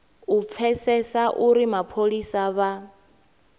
u pfesesa uri mapholisa vha